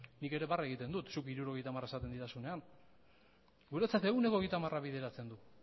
nik ere barre egiten dut zuk ehuneko hirurogeita hamara esaten didazunean guretzat ehuneko hogeita hamara bideratzen da